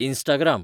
Instagram